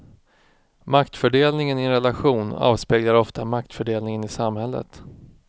Maktfördelningen i en relation avspeglar ofta maktfördelningen i samhället.